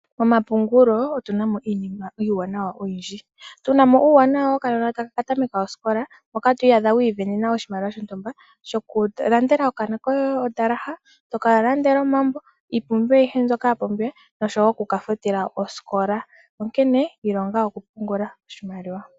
Momapungulo otu na mo iinima iiwanawa oyindji. Otu na mo uuwanawa wokanona taka ka tameka osikola, moka to iyadha wi isindanena oshimaliwa shontumba shokulandela okanona koye omuzalo gosikola, to ka landele omambo, iipumbiwa ayihe mbyoka ya pumbiwa noshowo oku ka futila osikola. Onkene ilonga okupungula oshimaliwa.